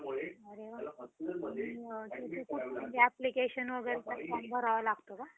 अरे वा! application वगैरेचा form भरावा लागतो का?